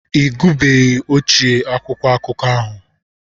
Ị gụbeghi ochie akwụkwọ akụkọ ahụ.